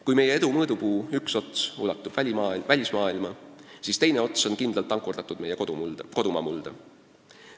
Kui meie edu mõõdupuu üks ots ulatub välismaailma, siis teine ots on kindlalt ankurdatud kodumaa mulda.